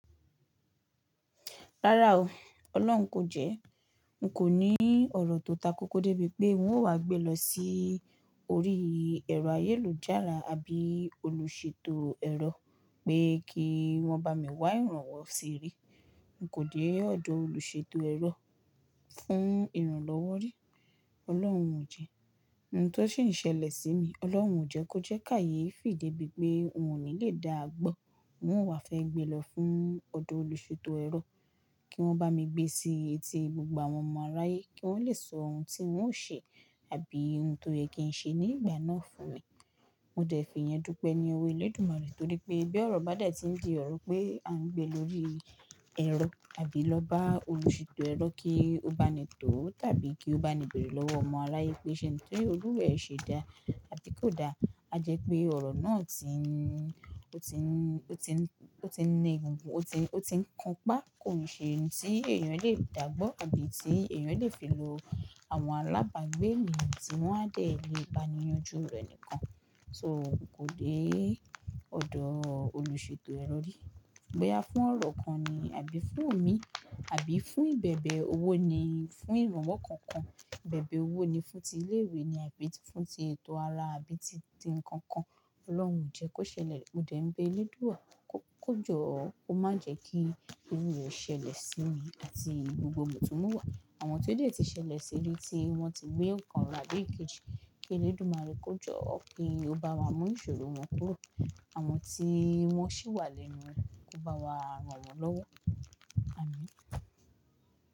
Rárá o, Ọlọ́run kò jẹ́. N kò ní ọ̀rọ̀ tó takókó débi pé n ó wá gbé lọ sí orí ẹ̀rọ ayélujára àbí olùṣètò ẹ̀rọ pé kí wọ́n bá mi wá ìrànwọ́ síbí. N kò dé ọ̀dọ̀ olùṣètò ẹ̀rọ fún ìrànlọ́wọ́ rí. Ọlọ́run o jẹ́, ohun tó ṣi n ṣẹlẹ̀ sí mi, Ọlọ́run jẹ́ kó jẹ́ káyeefì debíi pé n ò ní le dáà gbọ́. N ó wá fẹ́ gbe lọ fún ọ̀dọ̀ olùṣètò ẹ̀rọ kí wọ́n bá mi gbé sí etí gbogbo àwọn ọmọ aráyé kí wọ́n le sọ ohun tí ń ó ṣe àbí ohun tó yẹ kí ń ṣe ní ìgbà náà fún mi. Mo dẹ̀ fi ìyẹn dúpẹ́ ní owó Elédùmarè torí pé bí ọ̀rọ̀ bá dè tí ń di ọ̀rọ̀ pé à ń gbé lórí ẹ̀rọ àbí lọ bá olùṣètò ẹ̀rọ kí ó bá ni tọ́ tàbí kí ó bá ni béèrè lọ́wọ́ ọmọ aráye pé ṣe ohun tólúwa rẹ̀ ṣe dá àbí kò da, a jẹ́ pé ọ̀rọ̀ náà ti n, ó ti n, ó ti n, ó ti n ni egungun, ó ti n, ó ti n kan pá. Kò ní ṣe ohun tí èèyàn lè dàgbọ́ àbí tí èèyàn lè fi lo àwọn alábàgbé eniyan tí wọ́n á dẹ̀ le baniyanjú rẹ̀ nìkan. So kò dé ọ̀dọ̀ olùṣètò ẹ̀rọ rí. Boyà fún ọ̀rọ̀ kan ni àbí fún omi àbí fún ìbẹ̀bẹ̀ owó ni fún ìrànwọ́ kankan, ìbẹ̀bẹ̀ owó ni fún ti ilé ìwé ni àbí tí fún ti ètò ara àbí ti, ti nǹkan kan. Ọlọ́run o jẹ́ kó ṣẹlẹ̀, mo dẹ̀ ń bé Elédùà kó, kó jọ́, kó má jẹ́ kí irú irẹ́ ṣẹlẹ̀ sí mi àti gbogbo mutúnmuwa. Àwọn tó dẹ̀ ti ṣẹlẹ̀ sí i tí wọ́n ti gbé ǹkan ra báyìí kejì, pé Elédùmarè kó jọ́ kí ó bá wa mú nísòro wọn kúrò. Àwọn tí wọ́n sì wà lẹ́nu rẹ̀, kó bá wa ràn wọ́n lọ́wọ́. Àmín.